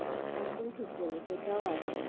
একদম ঠিক বলেছো এইটাও আছে,